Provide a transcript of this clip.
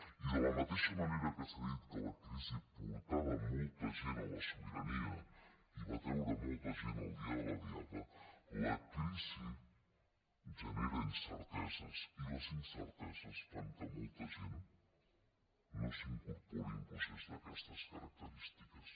i de la mateixa manera que s’ha dit que la crisi portava molta gent a la sobirania i va treure molta gent el dia de la diada la crisi genera incerteses i les incerteses fan que molta gent no s’incorpori en un procés d’aquestes característiques